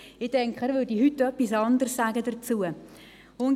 Ich denke, er würde sich heute anderes dazu äussern.